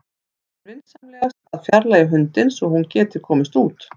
Biður hann vinsamlegast að fjarlægja hundinn svo að hún geti komist út.